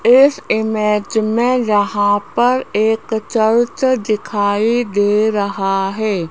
इस इमेज में यहाँ पर एक चर्च दिखाई दे रहा है।